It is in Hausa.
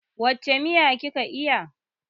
Wace miya ki ka iya?